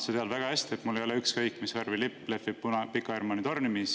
Sa tead väga hästi, et mul ei ole ükskõik, mis värvi lipp lehvib Pika Hermanni tornis.